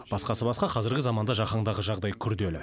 басқасы басқа қазіргі заманда жаһандағы жағдай күрделі